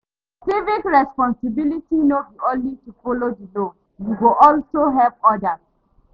Civic responsibility no be only to folo di law, yu go also help odas